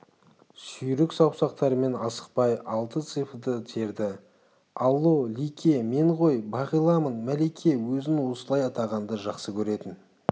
сүйрік саусақтарымен асықпай алты цифрді терді алло лике мен ғой бағиламын мәлике өзін осылай атағанды жақсы көретін